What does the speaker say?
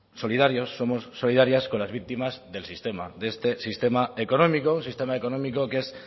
solidarios somos solidarias con las victimas del sistema de este sistema económico un sistema económico que es